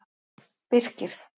Birkir